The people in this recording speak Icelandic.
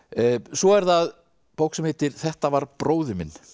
svo er það bók sem heitir þetta var bróðir minn